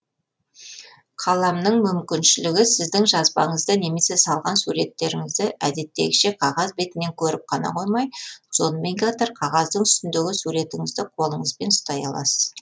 қаламның мүмкіншілігі сіздің жазбаңызды немесе салған суреттеріңізді әдеттегіше қағаз бетінен көріп қана қоймай сонымен қатар қағаздың үстіндегі суретіңізді қолыңызбен ұстай аласыз